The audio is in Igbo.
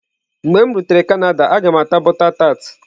Mgbe m rutere Canada, a ga m ata butter tart.